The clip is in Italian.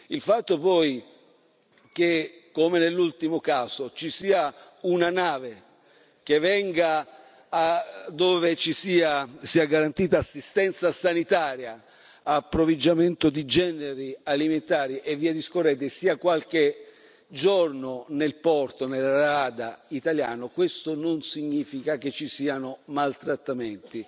Il fatto poi che, come nell'ultimo caso, ci sia una nave che venga dove sia garantita assistenza sanitaria, approvvigionamento di generi alimentari e via discorrendo, sia qualche giorno nel porto, nella rada, italiano, questo non significa che ci siano maltrattamenti.